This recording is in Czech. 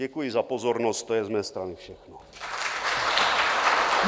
Děkuji za pozornost, to je z mé strany všecko.